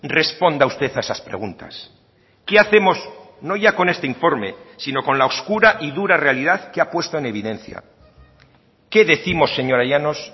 responda usted a esas preguntas qué hacemos no ya con este informe sino con la oscura y dura realidad que ha puesta en evidencia qué décimos señora llanos